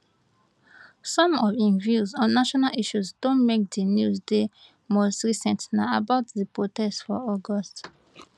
some of im views on national issues don make di news di most recent na about di protest for august